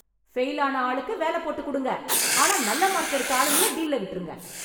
Fail ஆன ஆளுக்கு வேல போட்டு குடுங்க, ஆனா நல்ல மார்க் எடுத்த ஆளுங்கள டீல்ல விட்ருங்க.